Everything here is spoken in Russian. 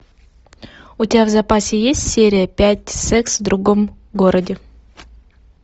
у тебя в запасе есть серия пять секс в другом городе